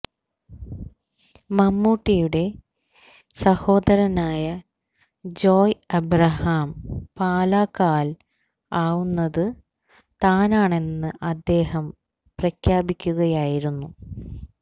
മമ്മൂട്ടിയുടെ സഹോദരനായ ജോയ് അബ്രഹാം പാലക്കാല് ആവുന്നത് താനാണെന്ന് അദ്ദേഹം പ്രഖ്യാപിക്കുകയായിരുന്നു